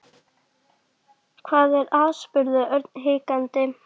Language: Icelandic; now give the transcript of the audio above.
Hvað er að? spurði Örn hikandi.